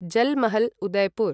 Jal Mahal, Udaipur